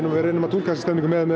við reynum að túlka þessa stemningu með